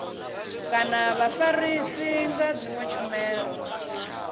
kana vhafarisi nga dzinwe tshumelo